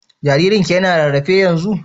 Jaririn ki yana rarrafe yanzun?